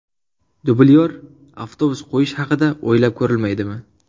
Dublyor avtobus qo‘yish haqida o‘ylab ko‘rilmaydimi?